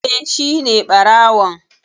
Eh, Shine ɓarawon